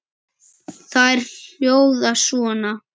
Þær hljóða svona